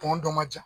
Tɔn dɔ ma ja